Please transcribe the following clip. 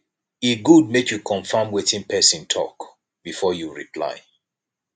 e good make you confirm wetin person talk before you reply